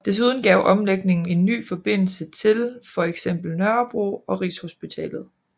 Desuden gav omlægningen en ny forbindelse til for eksempel Nørrebro og Rigshospitalet